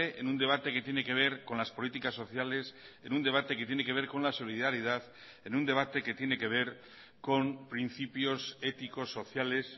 en un debate que tiene que ver con las políticas sociales en un debate que tiene que ver con la solidaridad en un debate que tiene que ver con principios éticos sociales